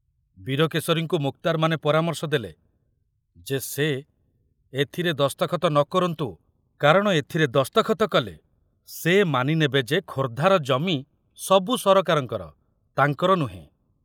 ବୀରକେଶରୀଙ୍କୁ ମୁକ୍ତାରମାନେ ପରାମର୍ଶ ଦେଲେ ଯେ ସେ ଏଥିରେ ଦସ୍ତଖତ ନ କରନ୍ତୁ, କାରଣ ଏଥିରେ ଦସ୍ତଖତ କଲେ ସେ ମାନି ନେବେ ଯେ ଖୋର୍ଦ୍ଧାର ଜମି ମହୁ ସରକାରଙ୍କର, ତାଙ୍କର ନୁହେଁ।